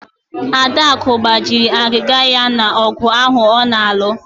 Adaku ọ gbajiri agịga ya n'ogụ ahụ ọ na-alụ?